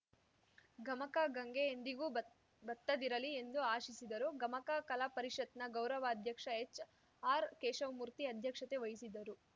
ಗಮಕ ಗಂಗೆ ಎಂದಿಗೂ ಬತ್ ಬತ್ತದಿರಲಿ ಎಂದು ಆಶಿಸಿದರು ಗಮಕ ಕಲಾ ಪರಿಷತ್‌ನ ಗೌರವ ಅಧ್ಯಕ್ಷ ಎಚ್‌ ಆರ್‌ ಕೇಶವಮೂರ್ತಿ ಅಧ್ಯಕ್ಷತೆ ವಹಿಸಿದ್ದರು